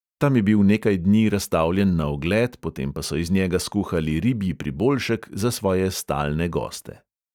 Tam je bil nekaj dni razstavljen na ogled, potem pa so iz njega skuhali ribji priboljšek za svoje stalne goste.